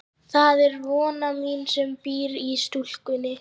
Það er von mín sem býr í stúlkunni.